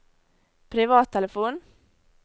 privattelefon